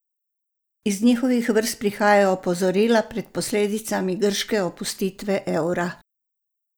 Iz njihovih vrst prihajajo opozorila pred posledicami grške opustitve evra.